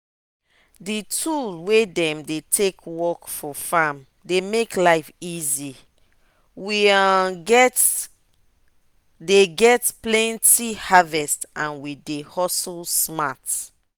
d tool wey dem dey take work for farm dey make life easy we um dey get plenty harvest and we dey hustle smart